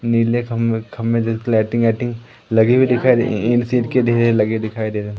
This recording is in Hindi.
नील खंभे लाइटिंग -आइटिंग लगी हुई दिखाई दे। ईंट-सिंट के ढेर लगे दिखाई दे रहे--